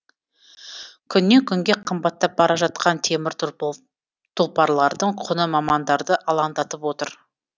күннен күнге қымбаттап бара жатқан темір тұлпарлардың құны мамандарды алаңдатып отыр